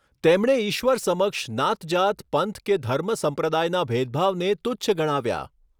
તેમણે ઈશ્વર સમક્ષ નાતજાત પંથ કે ધર્મ સંપ્રદાયના ભેદભાવને તુચ્છ ગણાવ્યા.